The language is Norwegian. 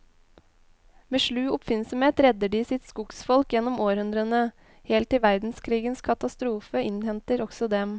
Med slu oppfinnsomhet redder de sitt skogsfolk gjennom århundrene, helt til verdenskrigens katastrofe innhenter også dem.